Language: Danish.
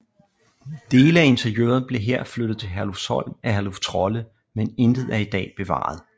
Dele af interiøret blev her flyttet til Herlufsholm af Herluf Trolle men intet er i dag bevaret